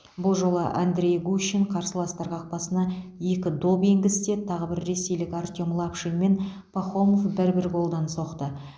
бұл жолы андрей гущин қарсыластар қақпасына екі доп енгізсе тағы бір ресейлік артем лапшин мен пахомов бір бір голдан соқты